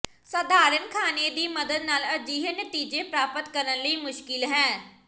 ਸਾਧਾਰਣ ਖਾਣੇ ਦੀ ਮਦਦ ਨਾਲ ਅਜਿਹੇ ਨਤੀਜੇ ਪ੍ਰਾਪਤ ਕਰਨ ਲਈ ਮੁਸ਼ਕਿਲ ਹੈ